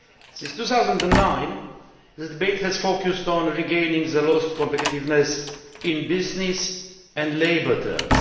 Since 2009 the debate has focused on regaining lost competitiveness in business and labour terms.